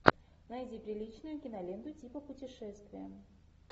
найди приличную киноленту типа путешествия